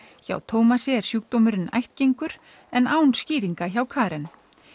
hjá Tómasi er sjúkdómurinn ættgengur en án skýringa hjá Karen